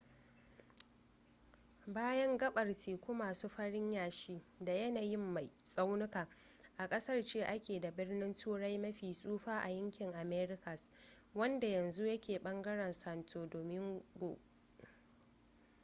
bayan gaɓar teku masu farin yashi da yanayin mai tsaunuka a ƙasar ce ake da birnin turai mafi tsufa a yankin americas wanda yanzu ya ke ɓangaren santo domingo